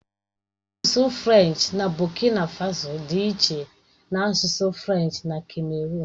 Asụsụ Frenchi na Bokina Faso dị iche na asụsụ Frenchi na kameruụn.